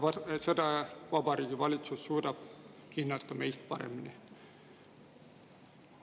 Ja seda Vabariigi Valitsus suudab hinnata meist paremini.